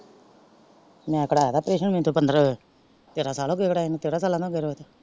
ਮੈਂ ਕਦਾ ਲਿਆ ਪਰੇਸ਼ਾਨ ਮੇਨੂ ਤੇ ਤੇਹਰਾਂ ਸਾਲ ਹੋ ਗਏ ਕਰਾਏ ਨੂੰ।